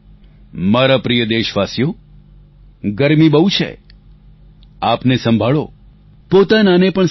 મારા પ્રિય દેશવાસીઓ ગરમી બહુ છે આપને સંભાળો પોતાનાને પણ સંભાળો